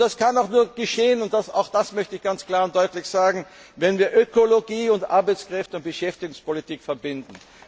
Und das kann auch nur geschehen und auch das möchte ich ganz klar und deutlich sagen wenn wir Ökologie und Arbeitskräfte und Beschäftigungspolitik verbinden.